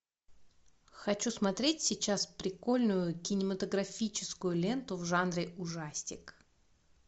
хочу смотреть сейчас прикольную кинематографическую ленту в жанре ужастик